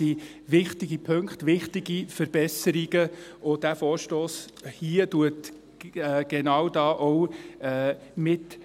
Das sind wichtige Punkte, wichtige Verbesserungen, und dieser Vorstoss hier trägt genau auch dazu bei.